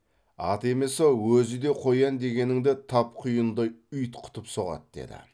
аты емес ау өзі де қоян дегеніңді тап құйындай ұйтқытып соғады деді